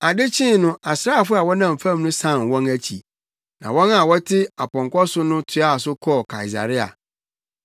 Ade kyee no asraafo a wɔnam fam no san wɔn akyi, na wɔn a wɔte apɔnkɔ so no toaa so kɔɔ Kaesarea.